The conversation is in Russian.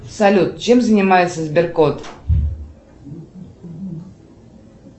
салют чем занимается сберкот